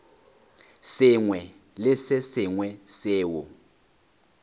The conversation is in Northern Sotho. sengwe le se sengwe seo